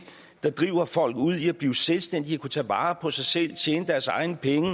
der driver folk ud i at blive selvstændige at kunne tage vare på sig selv at tjene deres egne penge